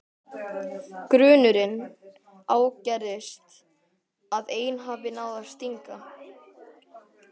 Grunurinn ágerist að ein hafi náð að stinga.